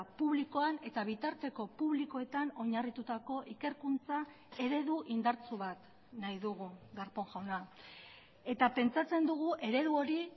publikoan eta bitarteko publikoetan oinarritutako ikerkuntza eredu indartsu bat nahi dugu darpón jauna eta pentsatzen dugu eredu hori